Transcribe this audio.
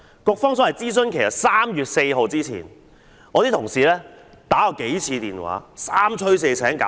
所謂的諮詢期限為3月4日，我的同事曾致電數次，三催四請。